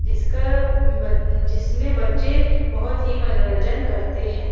जिसका बच्च जिसमें बच्चे बहुत ही मनोरंजन करते हैं।